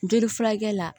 Joli furakɛ la